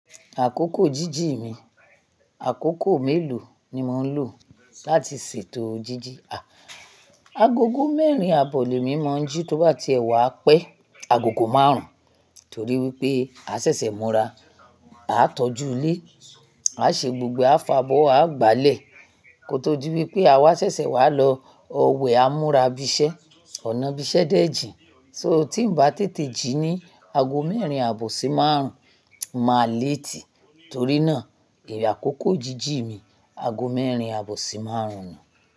Àkókò jíjì mi, àkókò mélòó ni mò ń lò láti ṣètò jíjì? Agogo mẹ́rin àbọ̀ lè mí mọ́ jí tó bá ti èwà pẹ́. Agogo márùn-ún torí wípé a ṣẹ̀ṣẹ̀ múra, à ń tọ́jú ilé, à ṣe gbogbo afàbọ̀, à gbálẹ̀ kó tó di wípé àwa ṣẹ̀ṣẹ̀ wá lọ òwe á múra ibi sẹ́. Ọ̀nà ibi isẹ́ dẹ̀ jìn. So tí ń bá tètè jí ní ago mẹ́rin àbọ̀ sí márùn-ún, màá léètì torí náà èrè àkókò jíjì mi ago mẹ́rin àbọ̀ sí márùn-ún ni.